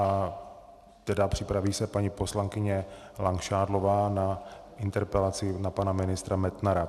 A tedy připraví se paní poslankyně Langšádlová s interpelací na pana ministra Metnara.